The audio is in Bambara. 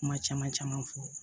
Kuma caman caman fɔ